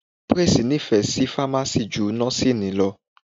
Praise nífẹ̀ẹ́ Fámásì ju Nọ́síìnì lọ